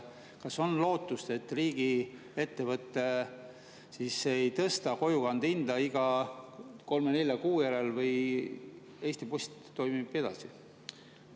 Kas on lootust, et riigiettevõte ei tõsta kojukande hinda iga kolme-nelja kuu järel, või Eesti Post toimib edasi?